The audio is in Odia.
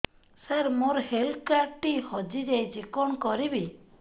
ସାର ମୋର ହେଲ୍ଥ କାର୍ଡ ଟି ହଜି ଯାଇଛି କଣ କରିବି